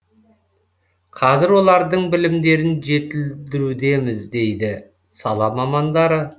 қазір олардың білімдерін жетілдірудеміз дейді сала мамандары